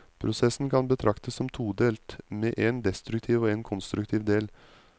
Prosessen kan betraktes som todelt, med en destruktiv og en konstruktiv del.